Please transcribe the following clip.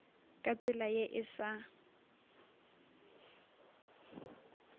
ka tsela ye e sa